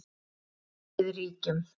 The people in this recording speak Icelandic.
Illska réð ríkjum.